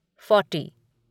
forty